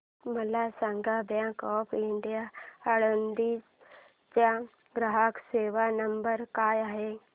मला सांगा bank of India Alandi चा ग्राहक सेवा नंबर काय आहे